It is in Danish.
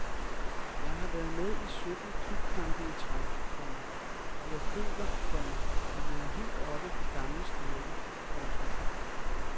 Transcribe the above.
Jeg har været med i sytten klubkampe i træk, komma og jeg føler, komma at jeg er helt oppe på gammel styrke. punktum